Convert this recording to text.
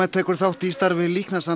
tekur þátt í starfi